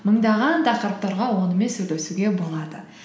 мыңдаған тақырыптарға онымен сөйлесуге болады